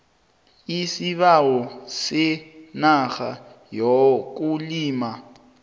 isibawo senarha yokulima